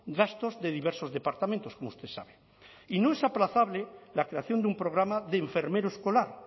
gastos de diversos departamentos como usted sabe y no es aplazable la creación de un programa de enfermero escolar